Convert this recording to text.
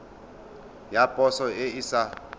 ya poso e e sa